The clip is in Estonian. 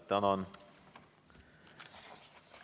Tänan!